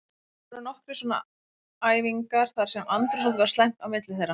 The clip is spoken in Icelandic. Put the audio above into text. Það voru nokkrar svona æfingar þar sem andrúmsloftið var slæmt á milli þeirra.